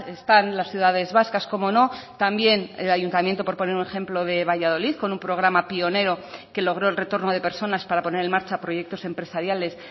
están las ciudades vascas cómo no también el ayuntamiento por poner un ejemplo de valladolid con un programa pionero que logro el retorno de personas para poner en marcha proyectos empresariales